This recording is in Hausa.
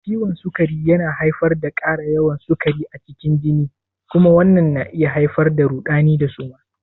Ciwon sukari yana haifar da ƙara yawan sukari a cikin jini kuma wannan na iya haifar da rudani da suma.